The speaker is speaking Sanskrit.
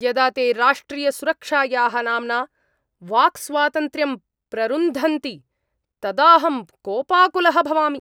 यदा ते राष्ट्रियसुरक्षायाः नाम्ना वाक्स्वातन्त्र्यं प्ररुन्धन्ति तदाहं कोपाकुलः भवामि।